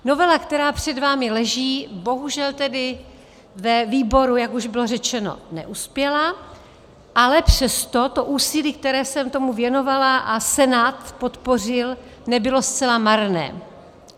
Novela, která před vámi leží, bohužel tedy ve výboru, jak už bylo řečeno, neuspěla, ale přesto to úsilí, které jsem tomu věnovala a Senát podpořil, nebylo zcela marné.